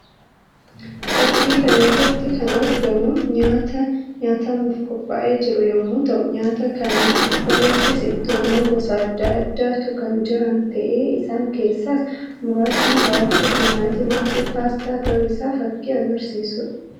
Fakkii kana irratti kan argamu nyaata nyaatamuuf qophaa'ee jiru yammuu ta'u; nyaata kana irraas ittoowwan gosa addaa addaatu kan jiran ta'ee isaan keessaas muraasni ràafuu, timaatimaa fi paastaa ta'uu isaa fakkii agarsiisuu dha.